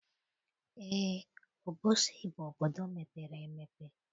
Eé, Obosi bụ obodo mepere emepe